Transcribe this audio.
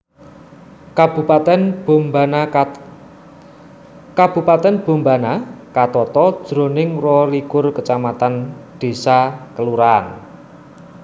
Kabupatèn Bombana katata jroning rolikur kacamatan désa/kalurahan